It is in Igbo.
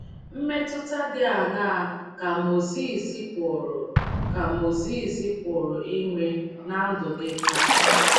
Mmetụta dị aṅaa ka Mozis pụrụ ka Mozis pụrụ inwe ná ndụ gị taa?